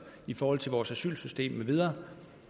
i forhold til vores asylsystem med videre